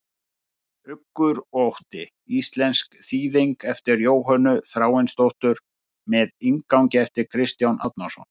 Uggur og ótti, íslensk þýðing eftir Jóhönnu Þráinsdóttur með inngangi eftir Kristján Árnason.